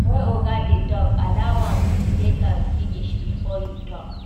When oga dey talk, allow am make im finish before you talk